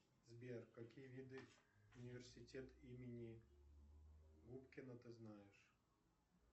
сбер какие виды университет имени губкина ты знаешь